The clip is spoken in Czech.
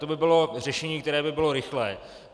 To by bylo řešení, které by bylo rychlé.